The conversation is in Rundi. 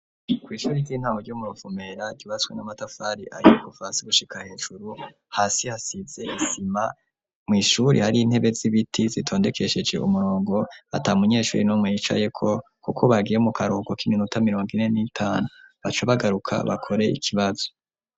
Ku ishuri ry'intamo ryo mu Ruvumera ryubatswe n'amatafari ahiye kuva hasi gushika hejuru hasi hasize isima mw'ishuri hari intebe z'ibiti zitondekesheje umurongo ata munyeshuri numwe yicayeko kuko bagiye mu karuhuko k'iminota mirongo ine n'itanu baca bagaruka bakore ikibazo.